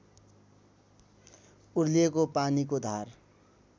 उर्लिएको पानीको धार